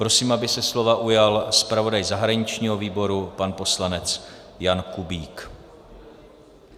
Prosím, aby se slova ujal zpravodaj zahraničního výboru pan poslanec Jan Kubík.